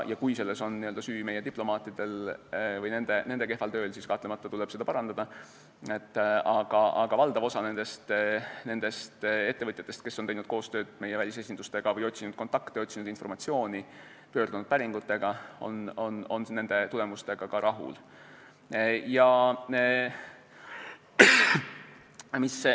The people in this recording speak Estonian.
Kui selles on süüdi meie diplomaadid või nende kehv töö, siis tuleb kahtlemata seda tööd parandada, aga valdav osa ettevõtjatest, kes on teinud koostööd meie välisesindustega või otsinud kontakte, informatsiooni, pöördunud päringutega, on tulemustega rahul.